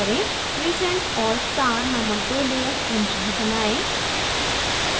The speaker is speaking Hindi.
crescent और star named दो layers क्रमशः बनाएं